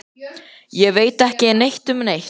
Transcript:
Ég. ég veit ekki neitt um neitt.